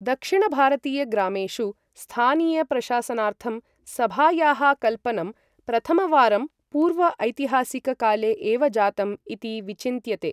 दक्षिण भारतीय ग्रामेषु, स्थानीय प्रशासनार्थं, सभायाः कल्पनं प्रथमवारं पूर्व ऐतिहासिक काले एव जातम् इति विचिन्त्यते।